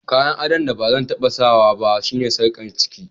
Kayan addon da bazan tabba sa ba shine sarkar ciki.